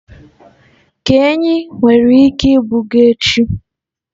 ka enyí nwere ike ibuga echi.